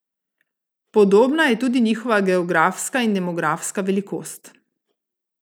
Podobna je tudi njihova geografska in demografska velikost.